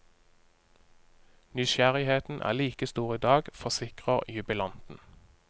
Nysgjerrigheten er like stor i dag, forsikrer jubilanten.